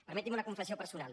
permetin me una confessió personal